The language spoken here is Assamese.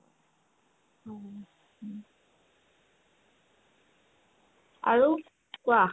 আৰু কোৱা